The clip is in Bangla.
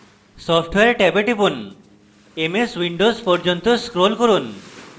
software ট্যাবে টিপুন ms windows পর্যন্ত scroll করুন